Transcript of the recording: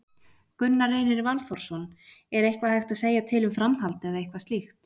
Gunnar Reynir Valþórsson: Er eitthvað hægt að segja til um framhald eða eitthvað slíkt?